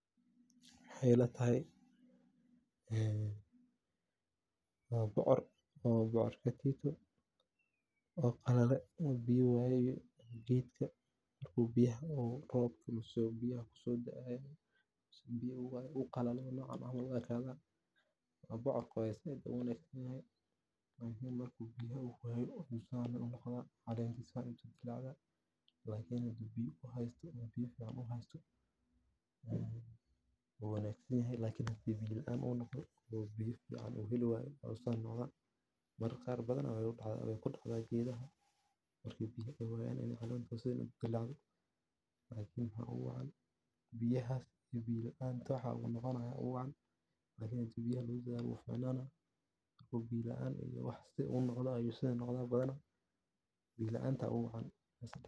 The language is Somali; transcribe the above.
Waxey ila tahay waa bocor waa geed miro-dhal ah oo ka mid ah dhirta beeraleydu aad u beertaan, gaar ahaan deegaannada kulaylaha iyo kuwa roobka hela. Bocorku wuxuu leeyahay caleemo waaweyn iyo laamo farac leh, wuxuuna dhalaa miro qaab dhuluxan ah leh, kuwaas oo leh maqaarka ciriiriga ah iyo gudaha jilicsan oo biyo iyo nafaqo leh. Miraha bocorka—oo mararka qaar la cuno isagoo cagaaran